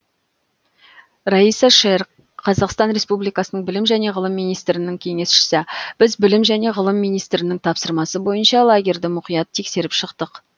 раиса шер қазақстан республикасының білім және ғылым министрінің кеңесшісі біз білім және ғылым министрінің тапсырмасы бойынша лагерьді мұқият тексеріп шықтық